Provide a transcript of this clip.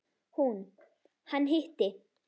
Hún: Hann hitti.